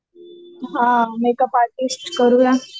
हा makeup artist करूया